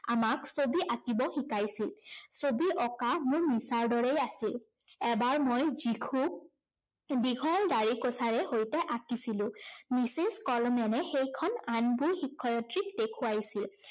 আমাক ছবি আঁকিব শিকাইছিল। ছবি অঁকা মোৰ নিচাৰ দৰে আছিল। এবাৰ মই যীশুক দীঘল ডাঢ়িকোছাৰে সৈতে আঁকিছিলো । মিছেছ কলমেনে সেইখন আনবোৰ শিক্ষয়িত্ৰীক দেখুৱাইছিল।